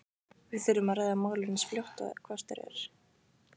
Við þurfum að ræða málin eins fljótt og kostur er.